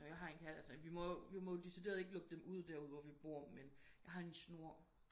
Ja jeg har en kat altså vi må vi må jo ikke decideret lukke dem ud der hvor vi bor men jeg har en snor